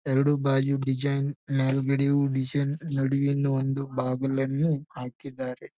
ಎರಡು ಬಾಗಿಯು ಡಿಸೈನ್ ಮೇಲ್ಗಡೆಯು ಡಿಸೈನ್ ನಡುವಿನ ಒಂದು ಬಾಗಿಲನ್ನು ಹಾಕಿದ್ದಾರೆ.